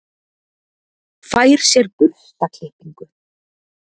Fær sér burstaklippingu.